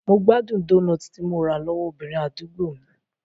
Mo gbádùn doughnut tí mo rà lọ́wọ́ obìnrin àdúgbò mi.